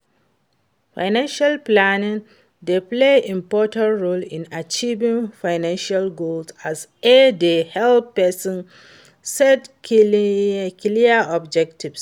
Financial planning dey play important role in achieving financial goals as e dey help pesin set clear objectives.